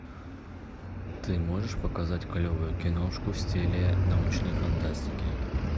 ты можешь показать клевую киношку в стиле научной фантастики